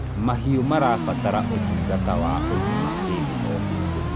mahiũ marabatara utungata wa ũgima hĩndĩ o hĩndĩ